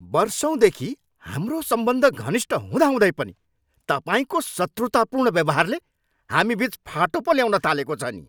वर्षौँदेखि हाम्रो सम्बन्ध घनिष्ठ हुँदाहुँदै पनि तपाईँको शत्रुतापूर्ण व्यवहारले हामीबिच फाटो पो ल्याउन थालेको छ नि।